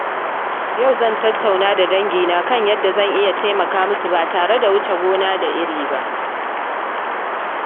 Yau zan tattauna da dangina kan yadda zan iya taimaka ma su ba tare da wuce gona da iri ba.